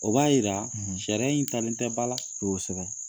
O b'a yira sariya in talen tɛ ba la te kosɛbɛ.